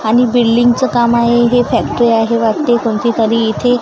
आणि बिल्डिंग चं काम आहे. हे फॅक्टरी आहे वरती कोणती तरी. इथे--